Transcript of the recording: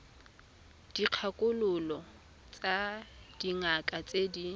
dikgakololo tsa dingaka tse di